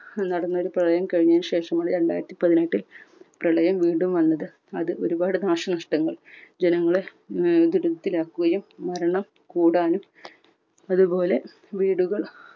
നടന്ന ഒരു പ്രളയം കഴിഞ്ഞെന് ശേഷമാണ് രണ്ടായിരത്തിപതിനെട്ടിൽ പ്രളയം വീണ്ടും വന്നത്. അത് ഒരുപാട് നാശ നഷ്ടങ്ങൾ ജനങ്ങളെ മ്മ് ദുരിതത്തിലാകുകയും മരണം കൂടാനും അതുപോലെ വീടുകൾ